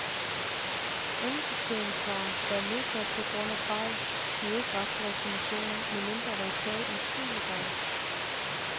Andensorteringsvarer, der er nedsat på grund af fejl, giver ikke ret til reklamationer, medmindre der er tale om skjulte fejl.